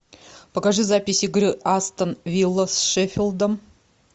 покажи запись игры астон вилла с шеффилдом